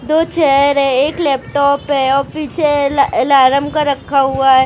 दो चेयर है एक लैपटॉप है पीछे ल आलर्म अलार्म का रखा हुआ है।